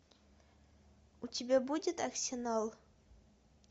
у тебя будет арсенал